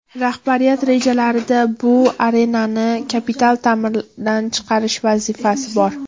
Rahbariyat rejalarida bu arenani kapital ta’mirdan chiqarish vazifasi bor.